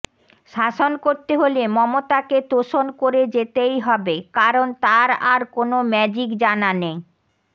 শাসন করতে হলে মমতাকে তোষণ করে যেতেই হবে কারণ তাঁর আর কোনও ম্যাজিক জানা নেই